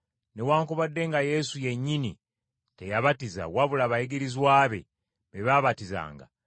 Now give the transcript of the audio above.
newaakubadde nga Yesu yennyini teyabatiza wabula abayigirizwa be, be baabatizanga,